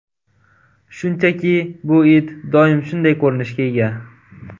Shunchaki bu it doim shunday ko‘rinishga ega.